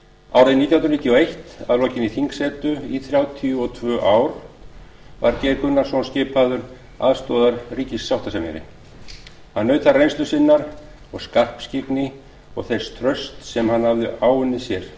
árið nítján hundruð níutíu og eitt að lokinni þingsetu í þrjátíu og tvö ár var geir gunnarsson skipaður aðstoðarríkissáttasemjari þar naut hann reynslu sinnar og skarpskyggni og þess trausts sem hann hafði áunnið sér